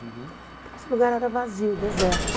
Então, esse lugar era vazio, deserto.